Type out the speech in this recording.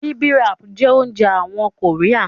Bibimbap jẹ́ oúnjẹ àwọn kòríà